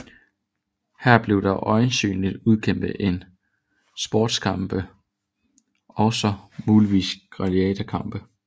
Her blev der øjensynligt udkæmpet sportskampe og muligvis også gladiatorkampe